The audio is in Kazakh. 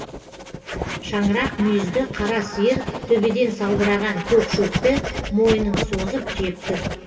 шаңырақ мүйізді қара сиыр төбеден салбыраған көк шөпті мойнын созып жеп тұр